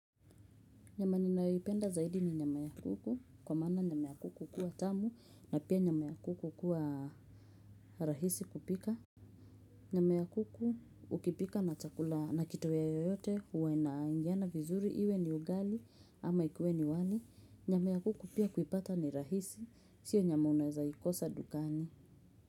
Nyama ninayoipenda zaidi ni nyama ya kuku. Kwa maana nyama ya kuku hukuwa tamu na pia nyama ya kuku hukuwa rahisi kupika. Nyama ya kuku ukipika na kitoweo yoyote huwa inaingiana vizuri. Iwe ni ugali ama ikuwe ni wali. Nyama ya kuku pia kuipata ni rahisi. Sio nyama unaeza ikosa dukani.